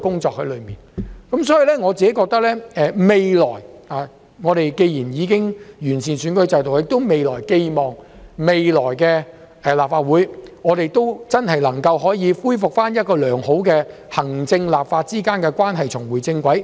在此順帶一提，既然本港已完善選舉制度，我寄望將來的立法會能真正回復良好狀態，令行政立法關係重回正軌。